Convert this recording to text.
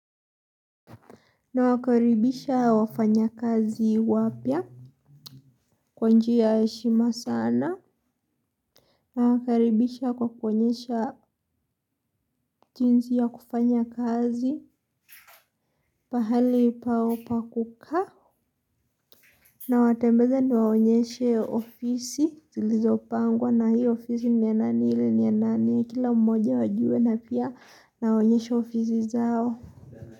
Nawakaribisha wafanyakazi wapya kwa njia ya heshima sana. Nawakaribisha kwa kuonyesha jinsi ya kufanya kazi pahali paa kukaa. Nawatembeza niwaonyeshe ofisi zilizo pangwa na hii ofisi ni ya nani hile ni ya nani. Kila mmoja wajue na pia nawaonyeshe ofisi zao.